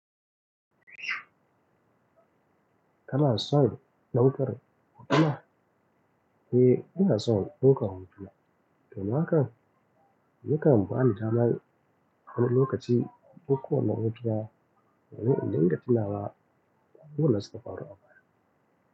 Kana son ɗaukar hotuna? Eh, ina son ɗaukar hotuna. Domin haka, yakan bani damar wani lokaci in ɗakko wannan hotina domin in dinga tunawa da abubuwan da suka faru abaya.